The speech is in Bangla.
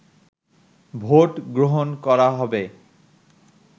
ভোট গ্রহণ করা হবে